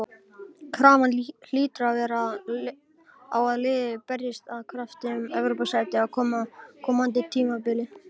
Krafan hlýtur að vera á að liðið berjist af krafti um Evrópusæti á komandi tímabili.